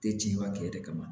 Te cɛnba kɛ de kama